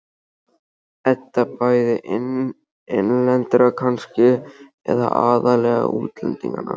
Edda: Bæði innlendra kannski, eða aðallega útlendinganna?